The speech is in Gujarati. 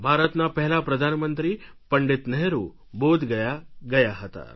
ભારતના પહેલા પ્રધાનમંત્રી પંડિત નહેરુ બોધગયા ગયા હતા